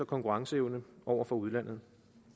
konkurrenceevne over for udlandet